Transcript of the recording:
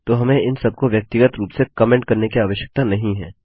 तो हमें इन सबको व्यक्तिगत रूप से कमेंट करने की आवश्यकता नहीं है